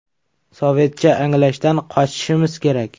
Sovetcha anglashdan qochishimiz kerak.